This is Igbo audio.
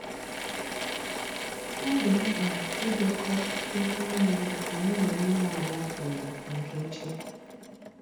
Ọ dị mkpa idekọ ihe nile anyi na onye nwa ala kwuru maka echi